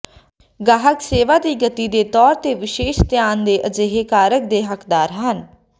ਗਾਹਕ ਸੇਵਾ ਦੀ ਗਤੀ ਦੇ ਤੌਰ ਤੇ ਵਿਸ਼ੇਸ਼ ਧਿਆਨ ਦੇ ਅਜਿਹੇ ਕਾਰਕ ਦੇ ਹੱਕਦਾਰ ਹਨ